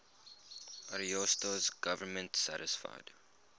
ariosto's government satisfied